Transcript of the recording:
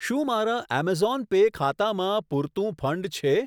શું મારા Amazon pay ખાતામાં પૂરતું ફંડ છે?